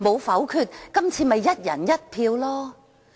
否則，今次便可以"一人一票"。